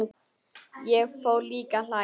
Ég fór líka að hlæja.